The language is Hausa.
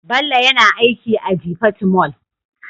Bello yana aiki a jifatu Mall